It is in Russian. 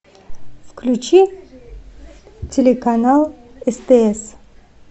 включи телеканал стс